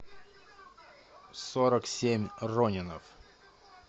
сорок семь ронинов